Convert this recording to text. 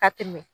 Ka tɛmɛ